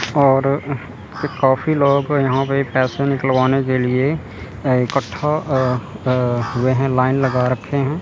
और काफ़ी लोगों को यहां पर पैसे निकलवाने के लिए इकट्ठा हुए हैं लाइन लगा रखे हैं।